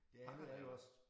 Pakkerne er også